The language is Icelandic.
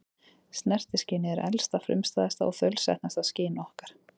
Snertiskynið er elsta, frumstæðasta og þaulsetnasta skyn okkar.